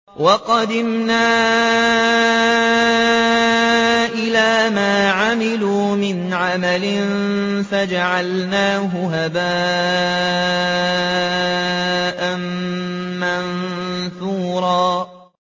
وَقَدِمْنَا إِلَىٰ مَا عَمِلُوا مِنْ عَمَلٍ فَجَعَلْنَاهُ هَبَاءً مَّنثُورًا